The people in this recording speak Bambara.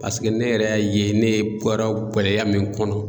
Paseke ne yɛrɛ y'a ye ne bɔra gɛlɛya min kɔnɔ